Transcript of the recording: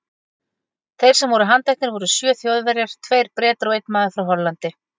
Þeir sem voru handteknir voru sjö Þjóðverjar, tveir Bretar og einn maður frá Hollandi.